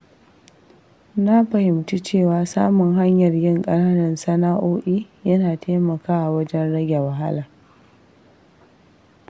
Na fahimci cewa samun hanyar yin ƙananan sana’o’i yana taimakawa wajen rage wahala.